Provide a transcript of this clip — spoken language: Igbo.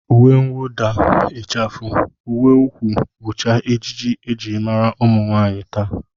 Uwemwụda, ịchafụ, uweukwu bụcha ejiji e ji mara ụmụnwaanyị taa